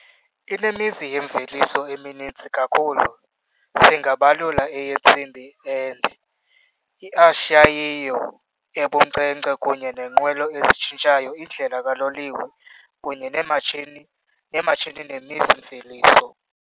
Inemizi yemveliso emininzi kakhulu singabalula eyentsimbi and iacciaio ebunkcenkce kunye nenqwelo ezitshintshayo, indlela kaloliwe kunye neematshini nemizi-mveliso.